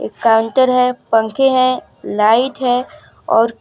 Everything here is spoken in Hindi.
काउंटर है पंखे हैं लाइट है और --